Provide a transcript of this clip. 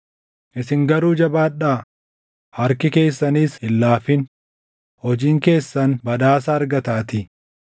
Isin garuu jabaadhaa; harki keessanis hin laafin; hojiin keessan badhaasa argataatii.”